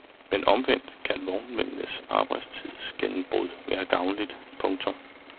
Men omvendt kan vognmændenes arbejdstidsgennembrud være gavnligt. punktum